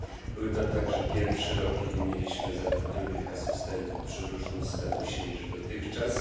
Był to także pierwszy rok, w którym mieliśmy zatrudnionych asystentów przy różnym statusie niż dotychczas.